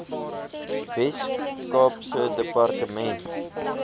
wes kaapse departement